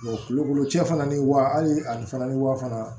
kulukoro cɛ fana ni wa hali ani fana ni wa fana